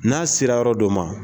N'a sera yɔrɔ dɔ ma